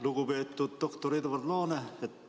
Lugupeetud doktor Edward Laane!